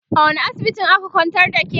a wani asibitin aka kwantar da ke?